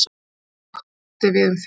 Það sama átti við um þig.